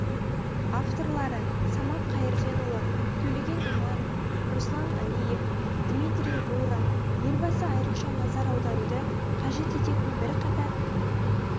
авторлары самат қайырденұлы төлеген иманов руслан әлиев дмитрий рура елбасы айрықша назар аударуды қажет ететін бірқатар